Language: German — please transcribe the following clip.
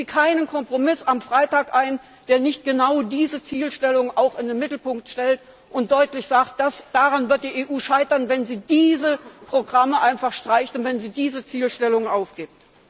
Gehen Sie keinen Kompromiss am Freitag ein, der nicht genau diese Zielstellung auch in den Mittelpunkt stellt und deutlich sagt Daran wird die EU scheitern, wenn sie diese Programme einfach streicht und wenn sie diese Zielstellung aufgibt.